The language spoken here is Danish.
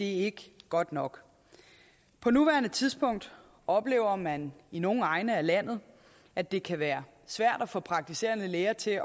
ikke godt nok på nuværende tidspunkt oplever man i nogle egne af landet at det kan være svært at få praktiserende læger til